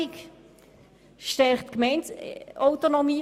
Sie stärkt die Gemeindeautonomie.